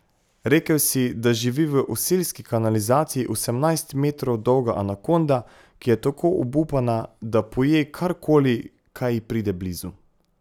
Rekel si, da živi v oselski kanalizaciji osemnajst metrov dolga anakonda, ki je tako obupana, da poje karkoli, kar ji pride blizu.